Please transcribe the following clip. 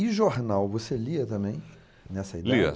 E jornal, você lia também, nessa idade? Lia